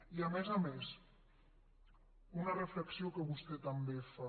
i a més a més una reflexió que vostè també fa